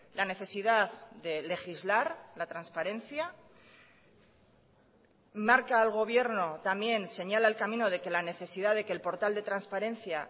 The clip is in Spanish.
la necesidad de legislar la transparencia marca al gobierno también señala el camino de que la necesidad de que el portal de transparencia